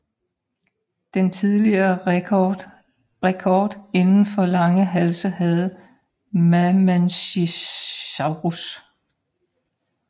Den tidligere rekord inden for lange halse havde Mamenchisaurus